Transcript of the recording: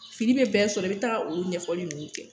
Fili be bɛn sɔrɔ i be taga olu ɲɛfɔli nunnu kɛ